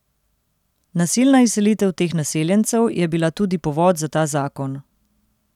Nasilna izselitev teh naseljencev je bila tudi povod za ta zakon.